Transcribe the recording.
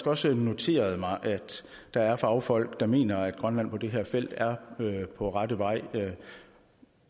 også noteret mig at der er fagfolk der mener at grønland på det her felt er på rette vej